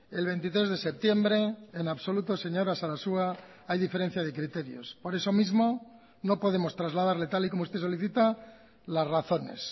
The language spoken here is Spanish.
el veintitrés de septiembre en absoluto señora sarasua hay diferencia de criterios por eso mismo no podemos trasladarle tal y como usted solicita las razones